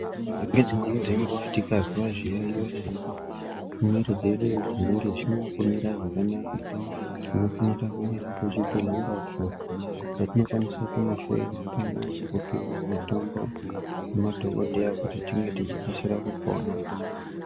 Nedzimweni dzenguwa tikazwa zviyaiyo zvedu mumwiri dzedu zvinenge zvisina kumira zvakanaka unofanira kuende zvibhedhlera uko kwatinokwanisa kunohloyiwa pamwe nekupiwa mitombo ngemadhokodheya kuti tinge techikasira kupona.